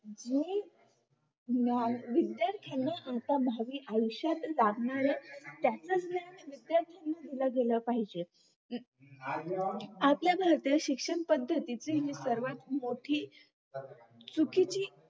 आणि विद्यार्थ्यांना त्यांच्या भावि आयुष्यात साधणाऱ्या त्याच ज्ञान विद्यार्थ्यांना दिल गेल पाहिजे आपल्या भारतात शिक्षणपद्धती ची हि सर्वात मोठी चुकीची